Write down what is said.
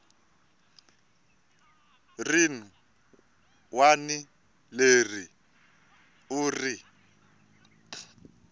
rin wana leri u ri